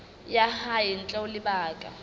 ya hae ntle ho lebaka